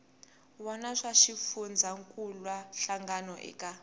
wana swa xifundzankuluwa hlangano eka